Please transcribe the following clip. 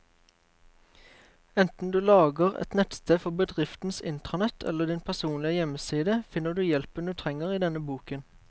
Enten du lager et nettsted for bedriftens intranett eller din personlige hjemmeside, finner du hjelpen du trenger i denne boken.